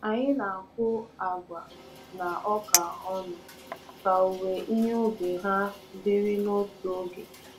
Anyị na-akụ agwa na ọka ọnụ ka owuwe ihe ubi ha dịrị n'otu oge.